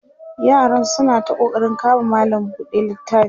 yaram suna ta ƙoƙarin kama malam buɗe littafi